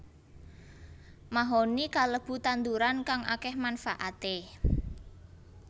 Mahoni kalebu tanduran kang akéh manfaaté